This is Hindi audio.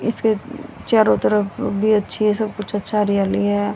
इसके चारों तरफ भी अच्छी है सब कुछ अच्छा हरियाली है।